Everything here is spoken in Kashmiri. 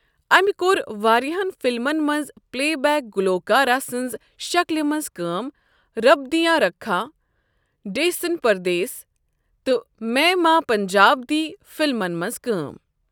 امہ کوٚر واریاہن فلمن منٛز پلے بیک گلوکاراہ سٕنزِ شکلہِ مَنٛز کأم رب دیاں رکھاں، ڈیسن پردیس تہٕ میں ماں پنجاب دی فِلمن منٛز کٲم۔